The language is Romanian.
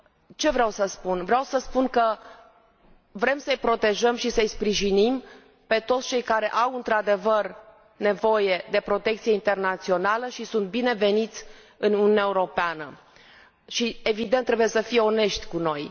Ce vreau să spun vreau să spun că vrem să îi protejăm și să îi sprijinim pe toți cei care au într adevăr nevoie de protecție internațională și sunt bineveniți în Uniunea Europeană. Și, evident, trebuie să fie onești cu noi.